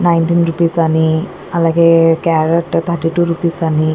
nineteen rupees అని అలాగే carrot thirty two rupees అని--